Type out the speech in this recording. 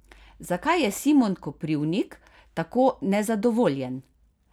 Zakaj je Simon Koprivnik tako nezadovoljen?